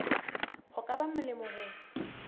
ho ka ba molemo ho